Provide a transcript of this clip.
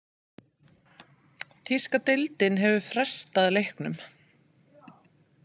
Þýska deildin hefur frestað leiknum.